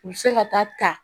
U bɛ se ka taa ta